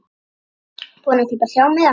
Búinn að kaupa þrjá miða.